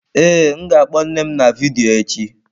Ee, m ga-akpo nne m na vidiyo echi.